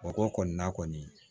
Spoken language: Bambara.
Mɔgɔ kɔni na kɔni